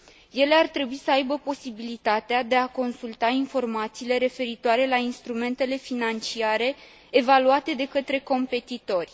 Ele ar trebui să aibă posibilitatea de a consulta informațiile referitoare la instrumentele financiare evaluate de către competitori.